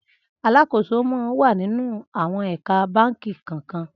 Alàkósó mà n wà ninú áwòn ékà bànkí kàn kàn